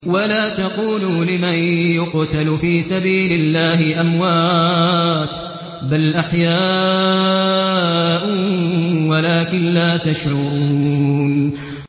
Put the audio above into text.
وَلَا تَقُولُوا لِمَن يُقْتَلُ فِي سَبِيلِ اللَّهِ أَمْوَاتٌ ۚ بَلْ أَحْيَاءٌ وَلَٰكِن لَّا تَشْعُرُونَ